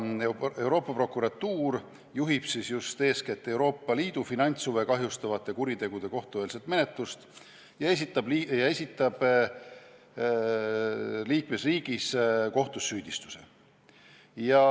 Euroopa Prokuratuur juhib just eeskätt Euroopa Liidu finantshuve kahjustavate kuritegude kohtueelset menetlust ja esitab liikmesriigi kohtus süüdistuse.